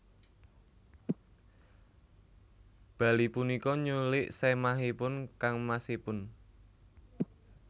Bali punika nyulik sèmahipun kangmasipun